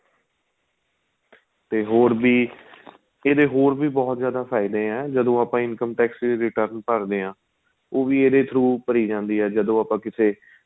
ਤੇ ਹੋਰ ਵੀ ਇਹਦੇ ਹੋਰ ਵੀ ਬਹੁਤ ਜਿਆਦਾ ਫਾਇਦੇ ਏ ਜਦੋਂ ਆਪਾਂ income tax ਦੀ return ਭਰਦੇ ਹਾਂ ਉਹ ਵੀ ਇਹਦੇ throw ਭਰੀ ਜਾਂਦੀ ਏ ਜਦੋਂ ਆਪਾਂ ਕਿਸੇ